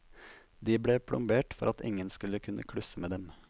De ble plombert for at ingen skulle kunne klusse med dem.